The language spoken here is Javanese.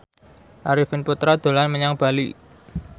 Arifin Putra dolan menyang Bali